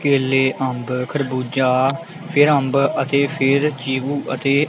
ਕੇਲੇ ਅੰਬ ਖਰਬੂਜਾ ਫਿਰ ਅੰਬ ਅਤੇ ਫਿਰ ਚੀਕੂ ਅਤੇ --